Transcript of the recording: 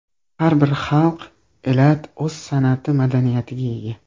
Har bir xalq, elat o‘z san’ati, madaniyatiga ega.